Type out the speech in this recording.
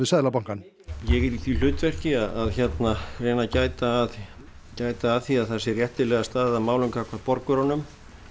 Seðlabankann ég er í því hlutverki að reyna að gæta að gæta að því að það sé réttilega staðið að málum gagnvart borgurunum